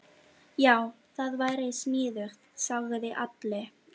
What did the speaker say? Já, það væri sniðugt, sagði Alli.